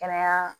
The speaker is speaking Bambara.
Kɛnɛya